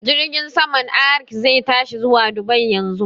Jirgin saman Arik zai tashi zuwa Dubai yanzu